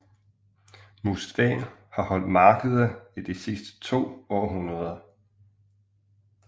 Mustvee har holdt markeder i de sidste to århundreder